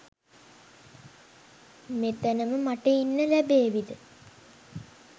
මෙතනම මට ඉන්න ලැබේවිද?